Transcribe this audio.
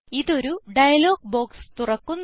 ഇത് ഒരു dialog box തുറക്കുന്നു